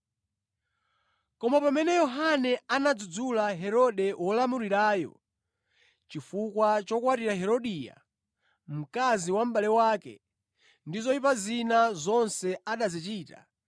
Koma pamene Yohane anadzudzula Herode wolamulirayo chifukwa chokwatira Herodia, mkazi wa mʼbale wake, ndi zoyipa zina zonse anazichita,